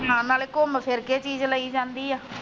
ਨਾਲ ਨਾਲ ਘੁੰਮ ਫਿਰ ਕੇ ਚੀਜ ਲਈ ਜਾਂਦੀ ਆ।